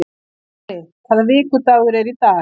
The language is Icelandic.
Garri, hvaða vikudagur er í dag?